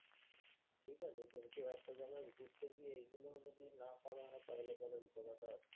ঠিকাছে, কিন্তু একটা জায়গায় ঘুরতে গিয়ে এগুলো যদি না করা হয় তাহলে বরং ঘোড়াটা